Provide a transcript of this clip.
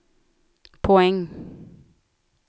poäng